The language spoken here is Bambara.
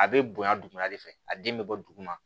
A bɛ bonya dugumana de fɛ a den bɛ bɔ duguma